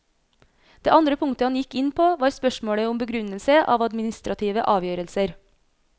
Det andre punktet han gikk inn på var spørsmålet om begrunnelse av administrative avgjørelser.